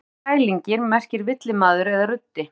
Orðið skrælingi merkir villimaður eða ruddi.